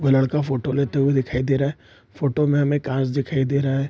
वो लड़का फोटो लेते हुए दिखाई दे रहा है फोटो में कांच दिखाई दे रहा है।